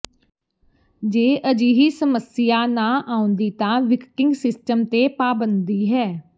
ਜੇ ਅਜਿਹੀ ਸਮੱਸਿਆ ਨਹੀਂ ਆਉਂਦੀ ਤਾਂ ਵਿਕਟਿੰਗ ਸਿਸਟਮ ਤੇ ਪਾਬੰਦੀ ਹੈ